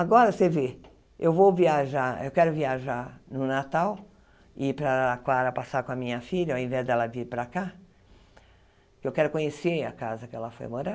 Agora, você vê, eu vou viajar, eu quero viajar no Natal, ir para Araraquara passar com a minha filha, ao invés dela vir para cá, que eu quero conhecer a casa que ela foi morar.